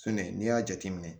Sɛnɛ n'i y'a jateminɛ